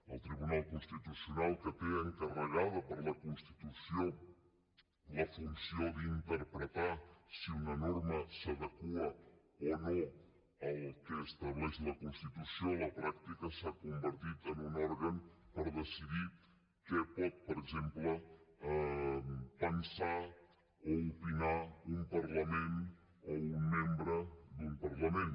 el tribunal constitucional que té encarregada per la constitució la funció d’interpretar si una norma s’adequa o no al que estableix la constitució a la pràctica s’ha convertit en un òrgan per decidir què pot per exemple pensar o opinar un parlament o un membre d’un parlament